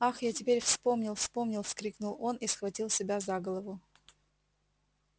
ах я теперь вспомнил вспомнил вскрикнул он и схватил себя за голову